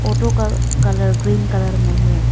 Auto का colour green colour में हैं।